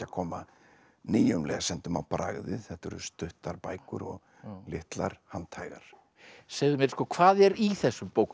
koma nýjum lesendum á bragðið þetta eru stuttar bækur og litlar handhægar segðu mér hvað er í þessum bókum